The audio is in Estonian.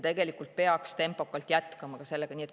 Tegelikult me peaksime tempokalt jätkama ka sellega.